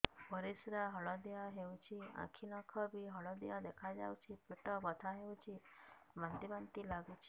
ପରିସ୍ରା ହଳଦିଆ ହେଉଛି ଆଖି ନଖ ବି ହଳଦିଆ ଦେଖାଯାଉଛି ପେଟ ବଥା ହେଉଛି ବାନ୍ତି ବାନ୍ତି ଲାଗୁଛି